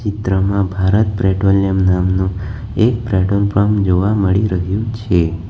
ચિત્રમાં ભારત પેટ્રોલિયમ નામનું એક પેટ્રોલ પંપ જોવા મળી રહ્યું છે.